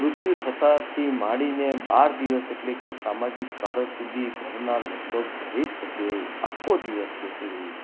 મૃત્યુ થતા થી માંડીને બાર દિવસ એટલે કે સામાજિક કાર જ સુધી ઘરના લગભગ દરેક સભ્યએ આખો દિવસ બેસી રહેવું.